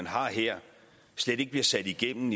har her slet ikke bliver sat igennem